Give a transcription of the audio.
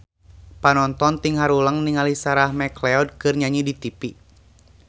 Panonton ting haruleng ningali Sarah McLeod keur nyanyi di tipi